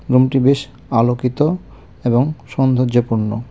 রুমটি বেশ আলোকিত এবং সৌন্দর্যপূর্ণ.